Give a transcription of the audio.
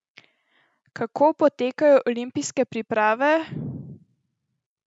Kako potekajo olimpijske priprave?